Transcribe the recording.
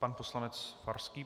Pan poslanec Farský.